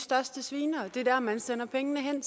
største svinere det er der man sender pengene hen